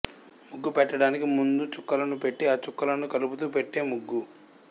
ముగ్గు పెట్టడానికి ముందు చుక్కలను పెట్టి ఆ చుక్కలను కలుపుతూ పెట్టే ముగ్గు